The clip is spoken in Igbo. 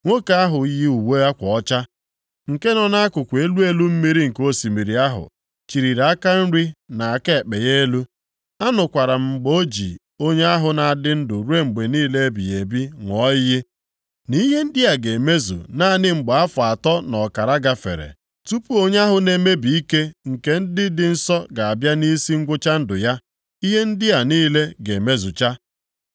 Nwoke ahụ yi uwe akwa ọcha, nke nọ nʼakụkụ elu elu mmiri nke osimiri ahụ chịlịri aka nri na aka ekpe ya elu. Anụkwara m mgbe o ji Onye ahụ na-adị ndụ ruo mgbe niile ebighị ebi ṅụọ iyi, “Nʼihe ndị a ga-emezu naanị mgbe afọ atọ na ọkara gafere, tupu onye ahụ na-emebi ike nke ndị dị nsọ ga-abịa nʼisi ngwụcha ndụ ya, ihe ndị a niile ga-emezucha.”